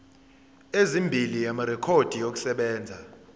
ezimbili amarekhodi okusebenza